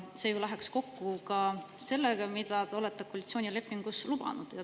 See läheks kokku sellega, mida te koalitsioonilepingus olete lubanud.